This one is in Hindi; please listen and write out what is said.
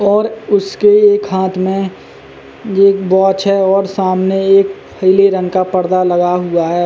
और उसके एक हाथ में एक वॉच है और सामने एक पीले रंग का पर्दा लगा हुआ है।